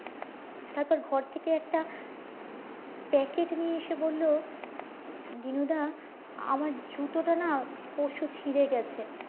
তারপর ঘর থেকে একটা প্যাকেট নিয়ে এসে বললো আমার জুতোটা না পরশু ছিড়ে গেছে